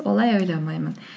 олай ойламаймын